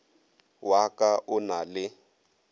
wa ka o na le